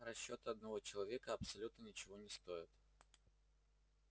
расчёт одного человека абсолютно ничего не стоят